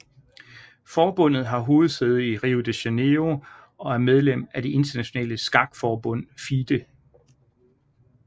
Forbundet har hovedsæde i Rio de Janeiro og er medlem af det Internationale Skakforbund FIDE